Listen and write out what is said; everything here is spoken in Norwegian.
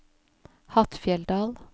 Hattfjelldal